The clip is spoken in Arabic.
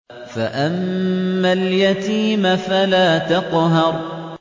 فَأَمَّا الْيَتِيمَ فَلَا تَقْهَرْ